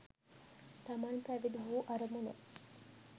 තමන් පැවිදි වූ අරමුණ